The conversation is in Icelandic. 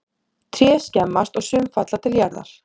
tré skemmast og sum falla til jarðar